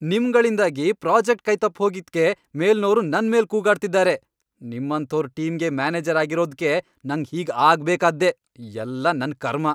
ನಿಮ್ಗಳಿಂದಾಗಿ project ಕೈ ತಪ್ ಹೋಗಿದ್ಕೆ ಮೇಲ್ನೋರು ನನ್ಮೇಲ್ ಕೂಗಾಡ್ತಿದಾರೆ, ನಿಮ್ಮಂಥೋರ್ ಟೀಮ್ಗೆ ಮ್ಯಾನೇಜರ್ ಆಗಿರೋದ್ಕೆ ನಂಗ್ ಹೀಗ್ ಆಗ್ಬೇಕಾದ್ದೇ.. ಎಲ್ಲ ನನ್ ಕರ್ಮ.